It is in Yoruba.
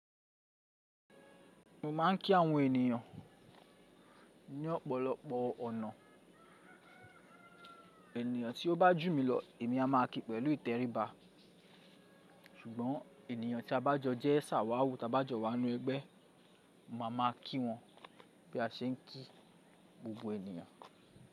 Mo máa ń kí àwọn ènìyàn ní ọ̀pọ̀lọpọ̀ ọ̀nà. Ènìyàn tí ó bá jù mí lọ èmi a máa kí pẹ̀lú ìtẹríba, ṣùgbọ́n ènìyàn tí a bá jọ jẹ́ ṣàwàwú, tí a bá jọ wà nínú ẹgbẹ́, mo a máa kí wọn bí a ṣe ń kí gbogbo ènìyàn.